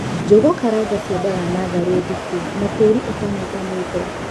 Njũgukaranga ciendaga natharī ndiku na tīri ūtanyitanīte